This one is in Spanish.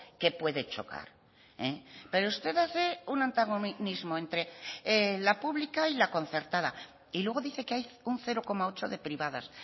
que puede chocar pero usted hace un antagonismo entre la pública y la concertada y luego dice que hay un cero coma ocho de privadas